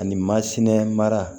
Ani mara